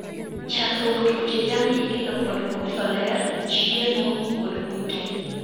Chakruok tuoche jamni ikelo kod: koso ler, chiemo, kod kute.